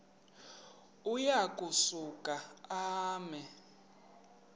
uya kusuka eme